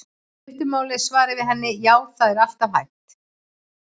Í stuttu máli er svarið við henni: Já, það er alltaf hægt.